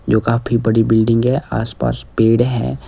जो काफी बड़ी बिल्डिंग है आसपास पेड़ है।